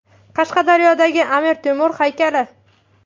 Qashqadaryodagi Amir Temur haykali.